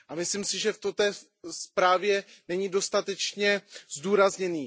A myslím si, že to v té zprávě není dostatečně zdůrazněno.